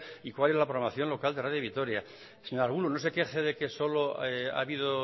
y cuál es programación local de radio vitoria señor arbulo no se queje de que solo ha habido